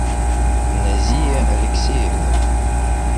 назия алексеевна